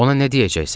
Ona nə deyəcəksən?